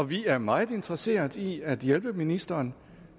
vi er meget interesseret i at hjælpe ministeren